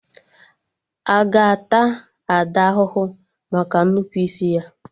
Aga ata Ada ahụhụ maka nnupụisi ya?